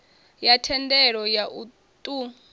ya thendelo ya u ṱun